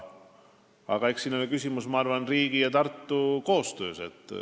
Aga eks siin ole küsimus, ma arvan, riigi ja Tartu koostöös.